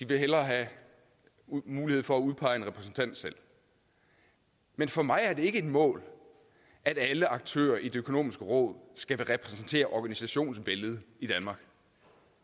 vil hellere have mulighed for at udpege en repræsentant selv men for mig er det ikke et mål at alle aktører i det økonomiske råd skal repræsentere organisationsvældet i danmark